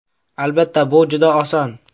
Albatta, bu juda oson.